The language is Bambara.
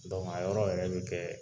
a yɔrɔ yɛrɛ bɛ kɛ